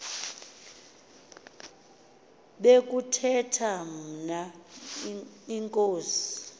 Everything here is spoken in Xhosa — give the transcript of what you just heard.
bekuthetha mna inkosi